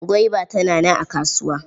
Gwaiba tana nan a kasuwa.